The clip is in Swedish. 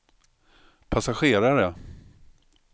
passagerare